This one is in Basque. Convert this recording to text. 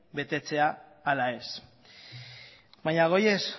betetzea ala ez baina goazen